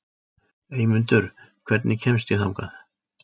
Eymundur, hvernig kemst ég þangað?